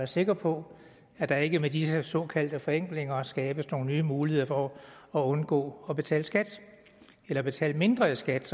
sikre på at der ikke med disse såkaldte forenklinger skabes nogle nye muligheder for at undgå at betale skat eller at betale mindre i skat